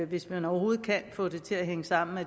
hvis man overhovedet kan få det til at hænge sammen at